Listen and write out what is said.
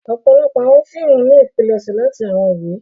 Ọpọlọpọ awọn fiimu ni ipilẹṣẹ lati awọn iwe.